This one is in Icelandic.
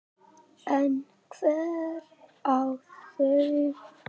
En hver á þau?